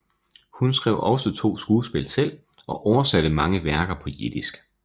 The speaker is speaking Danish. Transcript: Hun skrev også to skuespil selv og oversatte mange værker på jiddisk